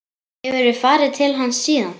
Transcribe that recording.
Hefurðu farið til hans síðan?